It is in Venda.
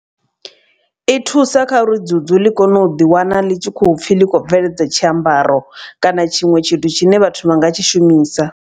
I thusa kha uri dzudzu ḽi kone u ḓi wana ḽi tshi khopfhi ḽi khou bveledza tshiambaro. Kana tshiṅwe tshithu tshine vhathu vha nga tshi shumisa.